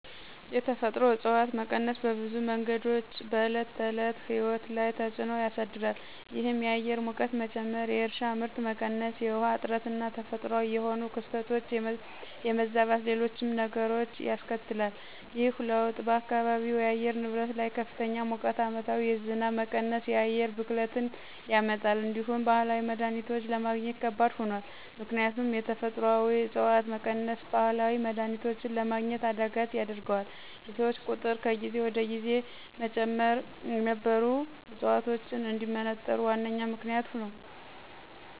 የተፈጥሮ እፅዋት መቀነስ በብዙ መንገዶች በዕለት ተዕለት ሕይወት ላይ ተፅዕኖ ያሳድራል። ይህም የአየር ሙቀት መጨመር፣ የእርሻ ምርት መቀነስ፣ የውሃ እጥረትና ተፈጥሯዊ የሆኑ ክስተቶች የመዛባትና ሌሎችም ነገሮች ያስከትላል። ይህ ለውጥ በአካባቢው የአየር ንብረት ላይ ከፍተኛ ሙቀት፣ ዓመታዊ የዝናብ መቀነስና የአየር ብክለትን ያመጣል። እንዲሁም ባህላዊ መድሀኒቶችን ለማግኘት ከባድ ሆኗል። ምክንያቱም የተፈጥሮአዊ ዕፅዋት መቀነስ ባህላዊ መድሀኒቶችን ለማግኘት አዳጋች ያደርገዋል፤ የሰዎች ቁጥር ከጊዜ ወደ ጊዜ መጨመር የነበሩ ዕፅዋቶች እንዲመነጠሩ ዋነኛ ምክንያት ነዉ።